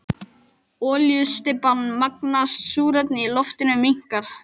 Olíustybban magnast, súrefnið í loftinu minnkar.